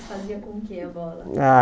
Fazia com o que a bola? Ah